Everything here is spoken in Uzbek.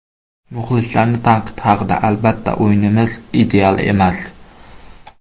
Muxlislarning tanqidi haqida Albatta, o‘yinimiz ideal emas.